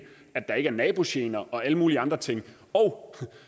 at der ikke er nabogener og alle mulige andre ting og